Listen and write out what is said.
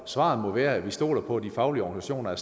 svaret må jo være at vi stoler på at de faglige organisationer er